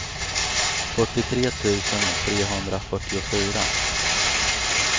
fyrtiotre tusen trehundrafyrtiofyra